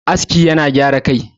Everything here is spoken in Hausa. aski yana gyara Kai